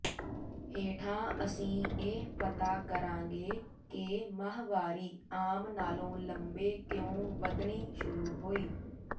ਹੇਠਾਂ ਅਸੀਂ ਇਹ ਪਤਾ ਕਰਾਂਗੇ ਕਿ ਮਾਹਵਾਰੀ ਆਮ ਨਾਲੋਂ ਲੰਬੇ ਕਿਉਂ ਵੱਧਣੀ ਸ਼ੁਰੂ ਹੋਈ